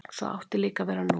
Svo átti líka að vera nú.